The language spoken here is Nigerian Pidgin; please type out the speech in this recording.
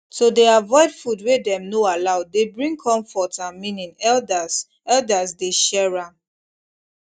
to dey avoid food wey dem no allow dey bring comfort and meaning elders elders dey share am